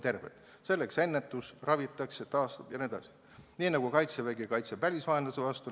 See on seotud ennetuse, ravimise, taastamise ja muuga, nii nagu Kaitsevägi kaitseb välisvaenlase vastu.